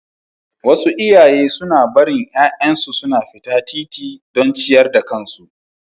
Wasu iyaye suna barin ’ya’yansu suna fita titimu don ciyar da kansu.